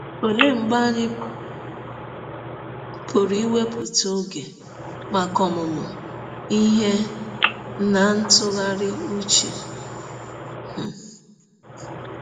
Ọlee mgbe anyị pụrụ iwepụta ọge maka ọmụmụ ihe na ntụgharị ụche? um